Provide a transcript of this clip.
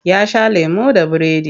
Ya sha lemo da biredi.